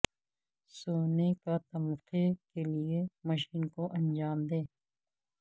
سونے کا تمغہ کے لئے مشن کو انجام دے